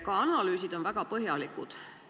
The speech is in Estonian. Ka analüüsid on väga põhjalikud.